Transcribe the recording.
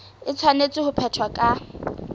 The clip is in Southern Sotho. e tshwanetse ho phethwa ka